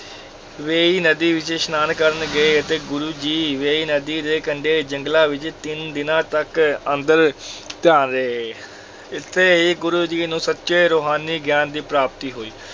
ਵੇਂਈ ਨਦੀ ਵਿੱਚ ਇਸ਼ਨਾਨ ਕਰਨ ਗਏ, ਤੇ ਗੁਰੂ ਜੀ ਵੇਂਈ ਨਦੀ ਦੇ ਕੰਢੇ ਜੰਗਲਾਂ ਵਿੱਚ ਤਿੰਨ ਦਿਨਾਂ ਤੱਕ ਅੰਤਰ ਧਿਆਨ ਰਹੇ, ਇੱਥੇ ਹੀ ਗੁਰੂ ਜੀ ਨੂੰ ਸੱਚੇ ਰੁਹਾਨੀ ਗਿਆਨ ਦੀ ਪ੍ਰਾਪਤੀ ਹੋਈ।